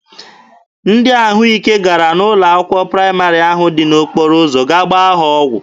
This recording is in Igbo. Ndị ahụ ike gara n'ụlọ akwụkwọ praịmarị ahụ dị n'okporo ụzọ gaa gbaa ha ọgwụ.